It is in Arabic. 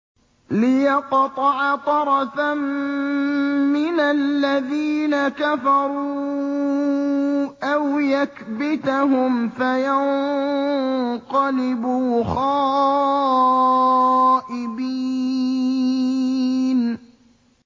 لِيَقْطَعَ طَرَفًا مِّنَ الَّذِينَ كَفَرُوا أَوْ يَكْبِتَهُمْ فَيَنقَلِبُوا خَائِبِينَ